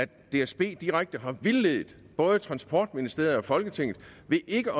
dsb direkte har vildledt både transportministeriet og folketinget ved ikke